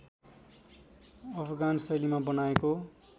अफगान शैलीमा बनाएको